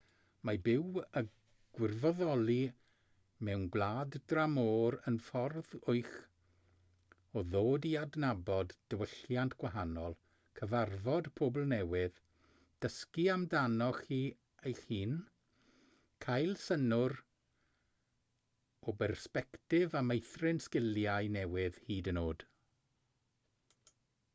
mae byw a gwirfoddoli mewn gwlad dramor yn ffordd wych o ddod i adnabod diwylliant gwahanol cyfarfod pobl newydd dysgu amdanoch chi eich hun cael synnwyr o bersbectif a meithrin sgiliau newydd hyd yn oed